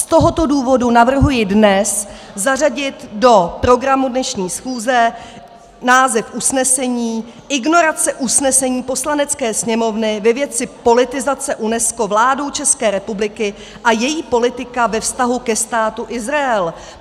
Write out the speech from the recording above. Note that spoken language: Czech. Z tohoto důvodu navrhuji dnes zařadit do programu dnešní schůze název usnesení Ignorace usnesení Poslanecké sněmovny ve věci politizace UNESCO vládou České republiky a její politika ve vztahu ke Státu Izrael.